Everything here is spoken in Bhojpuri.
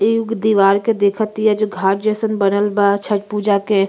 ई एगो दीवार के देखतिया जो घाट जइसन बनल बा छट पूजा के।